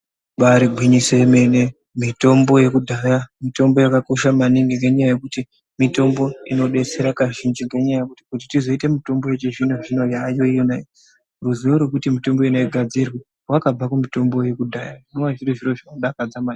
Ibari igwinyoso yemene mitombo yekudhaya mitombo yakakosha maningi nenyaya yekuti mitombo inodetsera kazhinji ngenyaya yekuti kuti tizoita mitombo yechizvinozvino yayonaiyi ruzivo rwekuti mitombo yona igadzirwe rwakabva kumitombo yekudhaya zvinova zviro zvinodakadza maningi.